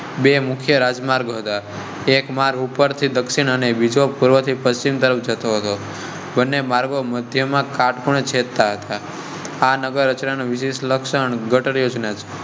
બે મુખ્ય રાજમાર્ગ હતા. એક મારું પર થી દક્ષિણ અને બીજો પૂર્વથી પશ્ચિમ તરફ જતો હતો માર્ગ મધ્ય માં કાટખૂણે જહેધતા હતા. આ નગર રચના અને વિશેષ લક્ષણ ગટર યોજના